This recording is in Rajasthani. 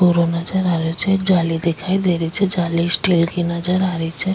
कोहरो नजर आ रहियो छे एक जाली दिखाई दे रही छे जाली स्टील की नजर आ रही छे।